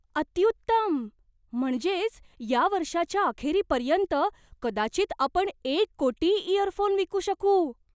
अत्युत्तम! म्हणजेच या वर्षाच्या अखेरीपर्यंत कदाचित आपण एक कोटी इयरफोन विकू शकू!